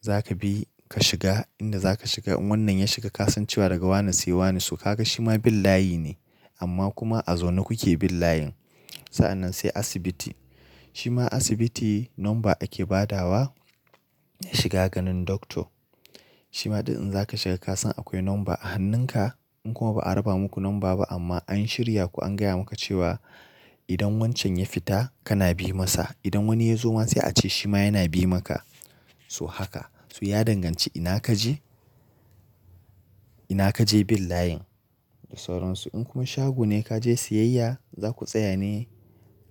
Za ka bi ka shiga inda za ka shiga in wannan ya shiga ka san cewa daga wane sai wane so ka ga shi ma bin layi ne. Amma kuma a zaune kuke bin layin. Sa'annan sai asibiti shi ma asibiti number ake badawa ya shiga ganin doctor. Shi ma ɗin inza ka shiga ka san akwai number a hannunka. In kuma ba a raba muku number ba amma an shirya ku an gaya maka cewa idan wancan ya fita kana bi masa. Idan wani ya zo ma sai a ce shi ma yana bi maka so haka. So ya danganci ina kaje ina kaje bin layin da sauransu. In kuma shago ne ka je siyayya za ku tsaya ne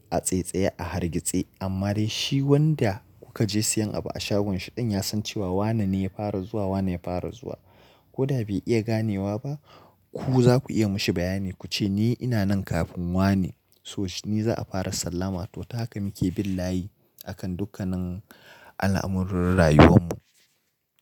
a tsaitsaye a hargitse. Amma dai shi wanda kuka je siyan abu a shagon shi ɗin ya san cewa wanene ya fara zuwa wanene ya fara zuwa. Ko da bai iya ganewa ba ku za ku iya mashi bayani ku ce ni ina nan kafin wane so ni za a fara sallama. To ta haka muke bin layi a kan dukkanin al'amuran rayuwan mu.